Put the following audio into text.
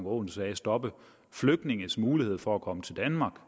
aaen sagde stoppe flygtninges mulighed for at komme til danmark